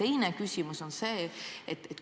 Ja teine küsimus on selline.